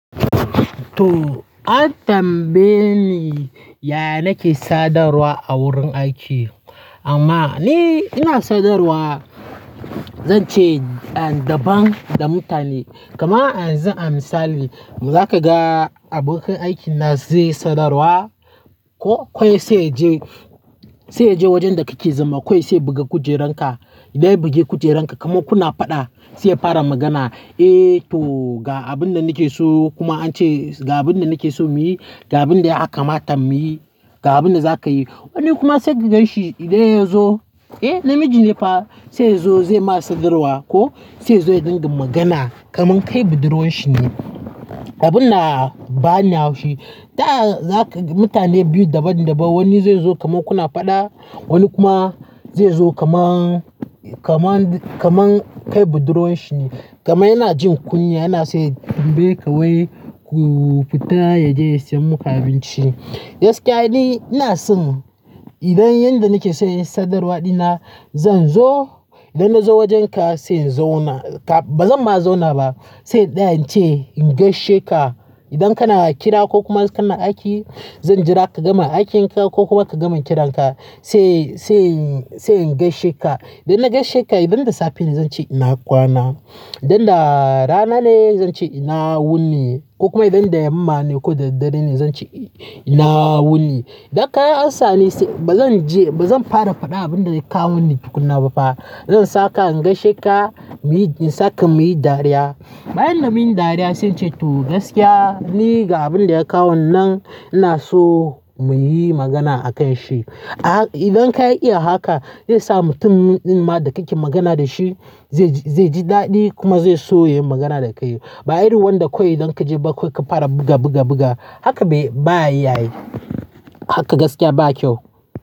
To, an tambaye ni yaya nake sadarwa a wurin aiki. Amma ni ina sadarwa, zan ce daban da mutane. Kaman ayanzu amsali, za ka ga abokin aikina zai sadarwa ko kawai sai yaje, sai yaje wajen da kake zama, kawai saiya buga kujeranka. Idan ya bugi kujeranka kaman kuna fada, sai ya fara magana. "Eh to ga abin da nake so, kuma an ce ga abin da nake so muyi, ga abin da ya kamata muyi, ga abin da za ka yi." Wani kuma sai ka ganshi idan ya zo, eh namiji ne fa, sai ya zo zai ma sadarwa ko sai ya zo ya dinga magana kaman kai budurwan shi ne. Abin na bani haushi. Taya zaka ga mutane biyu daban daban, wani zai zo kaman kuna fada, wani kuma zai zo kaman, kaman, kaman kai budurwan shi ne. Kaman yana jin kunya, yana son ya tambaye kawai ku fita ya je ya siyan muka abinci. Gaskiya ni ina son idan yanda nake son yin sadarwa dina, zan zo, idan na zo wajenka sai in zauna ka, bazan ma zauna ba, sai tsaya ince in gaishe ka. Idan kana kira ko kuma kana aiki, zan jira ka gama aikin ka ko kuma ka gama kiranka sai, sai, sai in gaishe ka. Idan na gaishe ka, idan da safe ne zan ce ina kwana. Idan da rana ne zan ce ina wuni ko kuma idan da yamma ne ko da dare ne zan ce ina wuni. Idan ka yi ansa ni sai bazan je, bazan fara fada abin da ya kawo ni tukuna ba fa. Zan saka in gaishe ka, muyi, gissaka muyi dariya. Bayan da mun yi dariya sai in ce to gaskiya ni ga abin da ya kawo ni nan ina so muyi magana a kan shi. Idan ka iya haka, zai sa mutumin ma da kake magana da shi zai ji, zai ji daɗi kuma zai so ya yi magana da kai. Ba irin wanda kawai idan ka je bakai ka fara buga, buga, buga. Haka bai, ba iya yayi. Haka gaskiya ba kyau.